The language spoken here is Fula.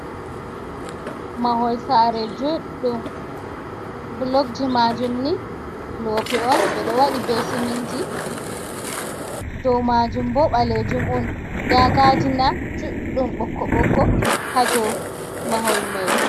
Mahol saare juɗɗum, bulok ji maajum ni lope on, ɓe ɗo waɗi be siminti, doo maajum bo ɓaleejum on, nda gaadina juɗɗum ɓokko ɓokko haa doo mahol mai.